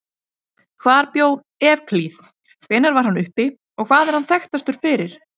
Hvar bjó Evklíð, hvenær var hann uppi og hvað er hann þekktastur fyrir?